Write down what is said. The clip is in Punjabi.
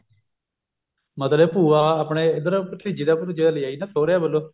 ਮਤਲਬ ਭੂਆ ਆਪਣੇ ਇੱਧਰ ਭਤੀਜੀ ਦਾ ਭੁਤੀਜੇ ਦਾ ਲਿਆ ਆਈ ਨਾ ਸੁਹਰਿਆਂ ਵੱਲੋਂ